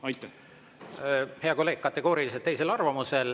Hea kolleeg, olen kategooriliselt teisel arvamusel.